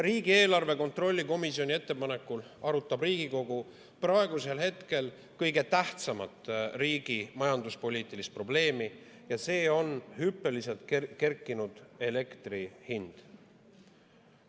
Riigieelarve kontrolli erikomisjoni ettepanekul arutab Riigikogu praegusel hetkel kõige tähtsamat riigi majanduspoliitilist probleemi ja see on hüppeliselt kerkinud elektri hind.